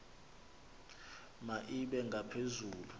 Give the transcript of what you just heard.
ma ibe ngaphezulu